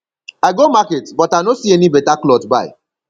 i go market but i know see any beta cloth buy